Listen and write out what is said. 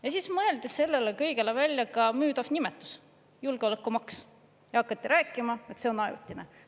Ja siis mõeldi sellele kõigele välja müüdav nimetus, julgeolekumaks, ja hakati rääkima, et see on ajutine.